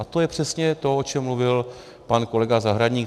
A to je přesně to, o čem mluvil pan kolega Zahradník.